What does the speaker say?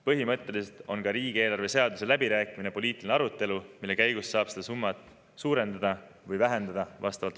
Põhimõtteliselt on ka riigieelarve seaduse läbirääkimine poliitiline arutelu, mille käigus saab seda summat vastavalt otsusele suurendada või vähendada.